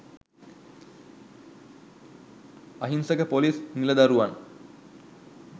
අහිංසක පොලිස් නිලදරුවන්